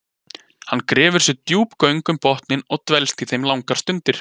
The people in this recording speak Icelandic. Hann grefur sér djúp göng um botninn og dvelst í þeim langar stundir.